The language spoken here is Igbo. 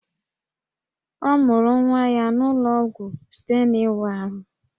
Ọ mụrụ nwa ya n'ụlọ ọgwụ site n'ịwa ahụ